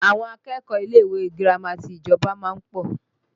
Àwọn akẹ́kọ̀ọ́ ilé ìwé girama ti ìjọba máa ń pọ̀